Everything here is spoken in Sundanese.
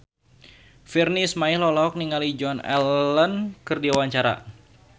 Virnie Ismail olohok ningali Joan Allen keur diwawancara